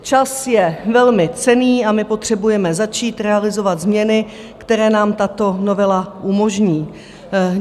Čas je velmi cenný a my potřebujeme začít realizovat změny, které nám tato novela umožní.